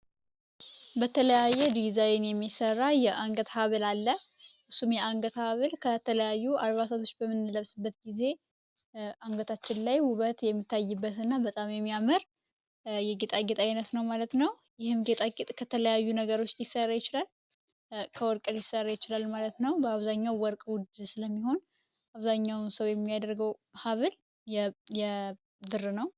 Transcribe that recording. በተለያየ ዲዛይን የሚሠራ የአንገት ሀብል አለ። እሱም የአንገት ሀብል ከተለያዩ አልባሳቶች በምንለብስበት ጊዜ አንገታችን ላይ ሁበት የሚታይበት እና በጣም የሚያመር የጌጣግት ዓይነት ነው ማለት ነው ይህም ከተለያዩ ነገሮች ሊሰራ ይችላል። ከወርቀል ሊሰራ ይችላል ማለት ነው። በአብዛኛውን ወርቅ ውድ ስለሚሆን አብዛኛውን ሰው የሚያደርገው ሀብል የብር ነው።